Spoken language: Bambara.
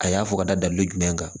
A y'a fɔ ka da dalu jumɛn kan